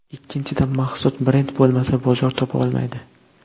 Ikkinchidan, mahsulot brend bo‘lmasa, bozor topa olmaydi.